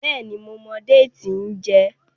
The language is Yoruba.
béèni mo mọ Déètì n jé.